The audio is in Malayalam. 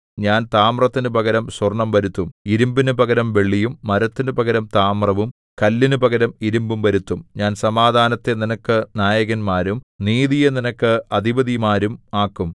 ഞാൻ താമ്രത്തിനു പകരം സ്വർണ്ണം വരുത്തും ഇരിമ്പിനു പകരം വെള്ളിയും മരത്തിനു പകരം താമ്രവും കല്ലിനു പകരം ഇരിമ്പും വരുത്തും ഞാൻ സമാധാനത്തെ നിനക്ക് നായകന്മാരും നീതിയെ നിനക്ക് അധിപതിമാരും ആക്കും